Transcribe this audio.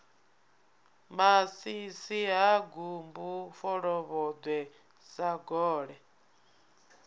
masisi ha gumbu folovhoḓwe sagole